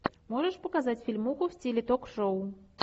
можешь показать фильмуху в стиле ток шоу